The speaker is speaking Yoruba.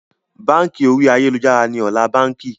Báńkì orí ayélujára ni ọ̀la báńkì